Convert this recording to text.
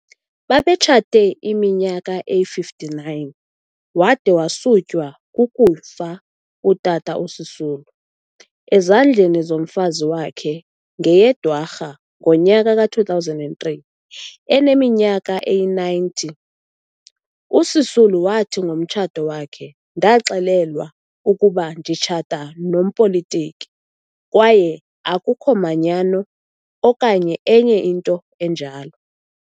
Babetshate iminyaka eyi-59, wade wasutywa kukufa utata uSisulu, ezandleni zomfazi wake ngeyeDwarha ngonyaka ka-2003 eneminyaka eyi-90. USisulu wathi ngomtshato wakhe- "Ndaxelelwa ukuba nditshata nompolitiki kwaye akhukho manyano, okanye enye into enjalo."